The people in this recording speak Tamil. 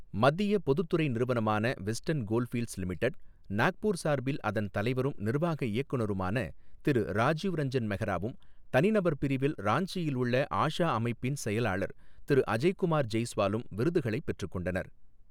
மத்திய பொதுத்துறை நிறுவனமான வெஸ்டர்ன் கோல்ஃபீல்ட்ஸ் லிமிடெட், நாக்பூர் சார்பில் அதன் தலைவரும், நிர்வாக இயக்குனருமான திரு ராஜீவ் ரஞ்சன் மெஹ்ராவும், தனிநபர் பிரிவில் ராஞ்சியில் உள்ள ஆஷா அமைப்பின் செயலாளர் திரு அஜய்குமார் ஜெய்ஸ்வாலும் விருதுகளைப் பெற்றுக்கொண்டனர்.